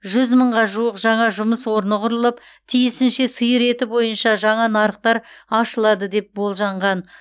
жүз мыңға жуық жаңа жұмыс орны құрылып тиісінше сиыр еті бойынша жаңа нарықтар ашылады деп болжанған